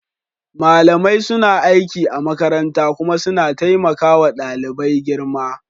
Malamai suna aiki a makaranta kuma suna taimaka wa ɗalibai girma.